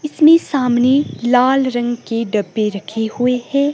इसमें सामने लाल रंग के डब्बे रखी हुए है।